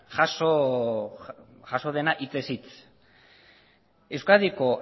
jaso dena hitzez hitz euskadiko